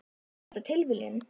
Er þetta tilviljun?